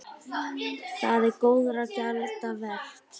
Það er góðra gjalda vert.